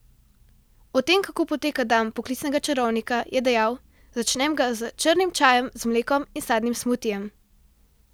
O tem, kako poteka dan poklicnega čarovnika, je dejal: "Začnem ga s črnim čajem z mlekom in sadnim smutijem.